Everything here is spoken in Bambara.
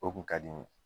O kun ka di n ye